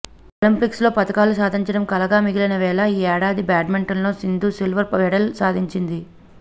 ఒలింపిక్స్లో పతకాలు సాధించటం కలగా మిగిలిన వేళ ఈ ఏడాది బ్యాట్మింటన్లో సిందూ సిల్వర్ మెడల్ సాధించింది